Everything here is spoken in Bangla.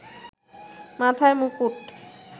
মাথায় মুকুট